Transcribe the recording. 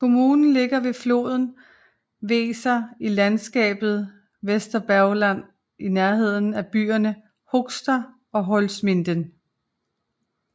Kommunen ligger ved floden Weser i landskabet Weserbergland i nærheden af byerne Höxter og Holzminden